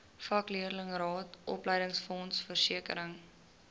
vakleerlingraad opleidingsfonds versekering